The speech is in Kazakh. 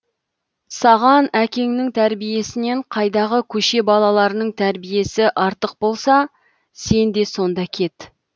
саған әкеңнің тәрбиесінен қайдағы көше балаларының тәрбиесі артық болса сен де сонда кет